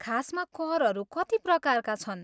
खासमा करहरू कति प्रकारका छन्?